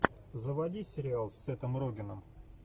заводи сериал с сетом рогеном